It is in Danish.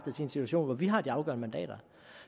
en situation hvor vi har de afgørende mandater